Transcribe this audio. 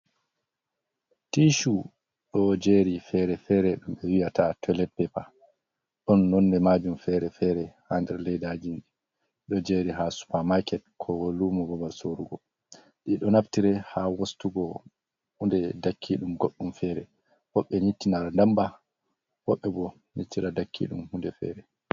Tishu ɗo jeri fere-fere ɗum ɓe wiyata toilet paper, ɗon nonde majum fere-fere ha nder leidajin ɗo jeri ha supermarket ko lumu babal sorugo. Ɗi ɗo naftire ha wostugo hunde dakki ɗum goɗɗum fere, woɓbe yittinara damba, woɓɓe ɓo nittira dakki ɗum hunde fere.